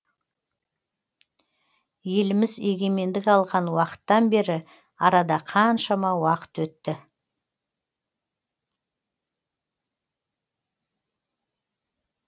еліміз егемендік алған уақыттан бері арада қаншама уақыт өтті